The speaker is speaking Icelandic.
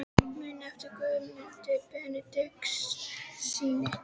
Muniði eftir Guðmundi Benediktssyni?